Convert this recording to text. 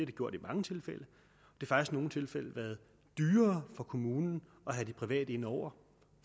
det gjort i mange tilfælde i nogle tilfælde været dyrere for kommunen at have de private inde over